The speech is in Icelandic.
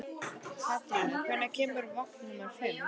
Katrína, hvenær kemur vagn númer fimm?